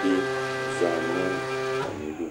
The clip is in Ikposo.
bɩ za nʊ atamɩdʊ